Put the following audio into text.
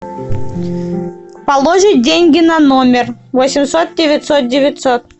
положить деньги на номер восемьсот девятьсот девятьсот